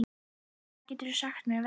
Jón, hvað geturðu sagt mér um veðrið?